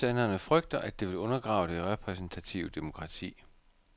Modstanderne frygter, at det vil undergrave det repræsentative demokrati.